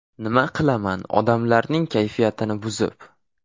Nima qilaman odamlarning kayfiyatini buzib.